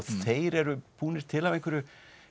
þeir eru búnir til af einhverju